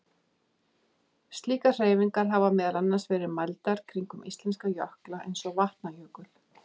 Slíkar hreyfingar hafa meðal annars verið mældar kringum íslenska jökla eins og Vatnajökul.